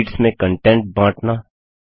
sheets में content बाँटना